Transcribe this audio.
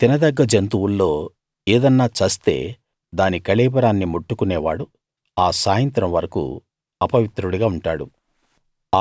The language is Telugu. మీరు తిన దగ్గ జంతువుల్లో ఏదన్నా చస్తే దాని కళేబరాన్ని ముట్టుకునే వాడు ఆ సాయంత్రం వరకూ అపవిత్రుడిగా ఉంటాడు